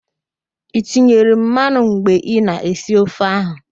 I tinyere mmanụ mgbe ị na-esi ofe ahụ?